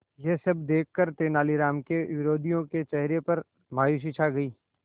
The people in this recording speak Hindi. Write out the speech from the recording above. यह सब देखकर तेनालीराम के विरोधियों के चेहरे पर मायूसी छा गई